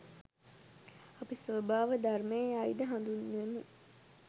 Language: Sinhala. අපි ස්වභාව ධර්මය යයි ද හඳුන්වමු.